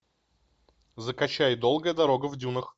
закачай долгая дорога в дюнах